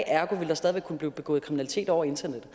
ergo ville der stadig kunne blive begået kriminalitet over internettet